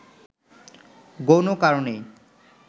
গৌণ কারণেই